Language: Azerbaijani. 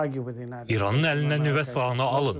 İranın əlindən nüvə silahını alın.